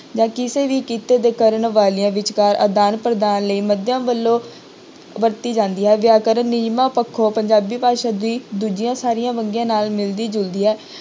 ਜਾਂ ਕਿਸੇ ਵੀ ਕਿਤੇ ਦੇ ਕਰਨ ਵਾਲਿਆਂ ਵਿਚਕਾਰ ਆਦਾਨ ਪ੍ਰਦਾਨ ਲਈ ਵੱਲੋਂ ਵਰਤੀ ਜਾਂਦੀ ਹੈ ਵਿਅਕਰਨ ਨਿਯਮਾਂ ਪੱਖੋਂ ਪੰਜਾਬੀ ਭਾਸ਼ਾ ਦੀ ਦੂਜੀਆਂ ਸਾਰੀਆਂ ਵੰਨਗੀਆਂ ਨਾਲ ਮਿਲਦੀ ਜੁਲਦੀ ਹੈ।